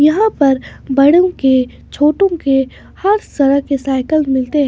यहां पर बड़ों के छोटो के हर तरह के साइकल मिलते हैं।